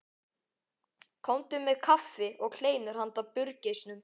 Komdu með kaffi og kleinur handa burgeisnum.